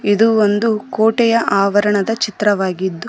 ಇದು ಒಂದು ಕೋಟೆಯ ಆವರಣದ ಚಿತ್ರವಾಗಿದ್ದು--